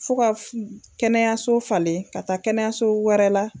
Fo ka kɛnɛyaso falen ka taa kɛnɛyaso wɛrɛ la.